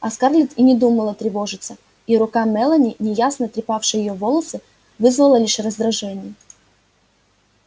а скарлетт и не думала тревожиться и рука мелани неясно трепавшая её волосы вызвала лишь раздражение